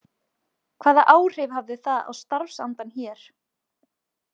Hvaða áhrif hafði það á starfsandann hér?